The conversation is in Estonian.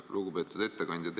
Lugupeetud ettekandja!